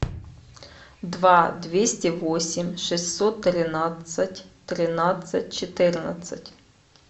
два двести восемь шестьсот тринадцать тринадцать четырнадцать